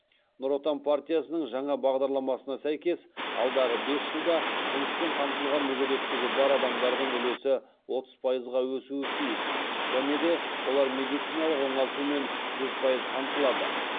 нұр отан партиясының жаңа бағдарламасына сәйкес алдағы бес жылда жұмыспен қамтылған мүгедектігі бар адамдардың үлесі отыз пайызға өсуі тиіс және де олар медициналық оңалтумен жүз пайыз қамтылады